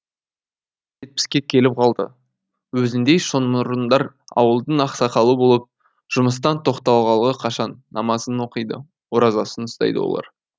жетпіске келіп қалды өзіндей шоңмұрындар ауылдың ақсақалы болып жұмыстан тоқталғалы қашан намазын оқиды оразасын ұстайды олар